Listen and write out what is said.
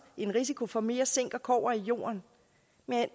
en risiko for mere zink og kobber i jorden men